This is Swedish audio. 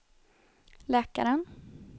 läkaren